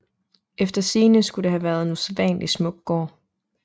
Efter sigende skal det have været en usædvanlig smuk gård